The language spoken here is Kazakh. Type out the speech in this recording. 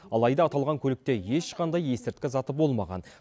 алайда аталған көлікте ешқандай есірткі заты болмаған